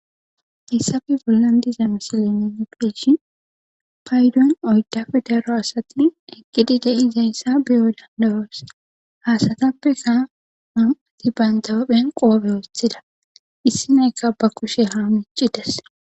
Hayssape bollan diza misalene nu beyidishi paydon oydafe daro asati eqqidi de'iza yssa biyo dandawoos hasatappe kaa an'ati bantaophen qoobe wothida issi nayka ba kushe haa mici des.